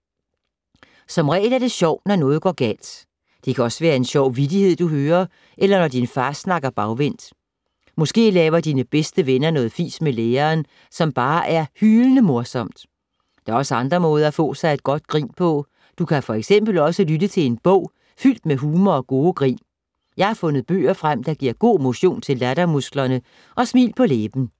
Som regel er det sjovt, når noget går galt. Det kan også være en sjov vittighed, du hører, eller når din far snakker bagvendt. Måske laver dine bedste venner noget fis med læreren, som bare er hylende morsomt. Der er også andre måder at få sig et godt grin på. Du kan for eksempel også lytte til en bog, fyldt med humor og gode grin. Jeg har fundet bøger frem, der giver god motion til lattermusklerne og smil på læben.